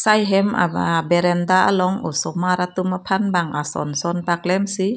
sai hem a berenda along osomar atum aphan bang ason son paklem si.